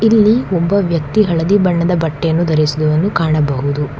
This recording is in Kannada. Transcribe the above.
ಇಲ್ಲಿ ಒಬ್ಬ ವ್ಯಕ್ತಿ ಹಳದಿ ಬಣ್ಣದ ಬಟ್ಟೆಯನ್ನು ಧರಿಸಿದವನು ಕಾಣಬಹುದು.